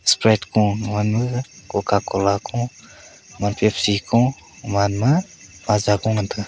sprite ko ga man ma coca cocla ko pepsi ko ga man ma maaza ku ngan taiga.